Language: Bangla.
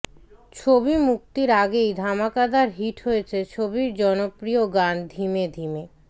ছবি মুক্তির আগেই ধামাকাদার হিট হয়েছে ছবির জনপ্রিয় গান ধিমে ধিমে